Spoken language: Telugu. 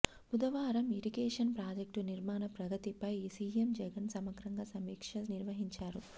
బుధవారం ఇరిగేషన్ ప్రాజెక్టు నిర్మాణ ప్రగతిపై సీఎం జగన్ సమగ్రంగా సమీక్ష నిర్వహించారు